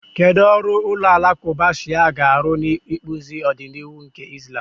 Kedu ọrụ ụlọ alakụba Shia ga-arụ n'ịkpụzi ọdịnihu nke Islam?